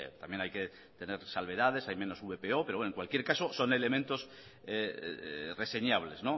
también hay que tener salvedades hay menos vpo pero en cualquier caso son elementos reseñables